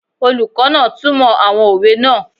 Olùkọ́ náà túnmọ̀ àwọn òwe náà